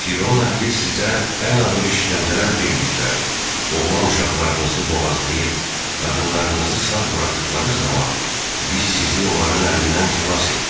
Firon əhli sizə ən ağır işgəncələr verdikləri, oğlan uşaqlarınızı boğazlayıb, qadınlarınızı sağ buraxdıqları zaman biz sizi onların əlindən xilas etdik.